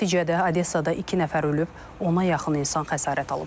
Nəticədə Odessada iki nəfər ölüb, ona yaxın insan xəsarət alıb.